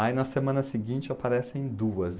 Aí na semana seguinte aparecem duas.